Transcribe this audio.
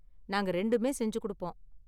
நாங்க ரெண்டுமே செஞ்சு கொடுப்போம்.